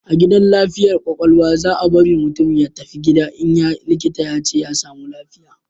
A gidan lafiyar kwakwalwa, za bari mutum ya tafi gida in likita ya ce ya samu lafiya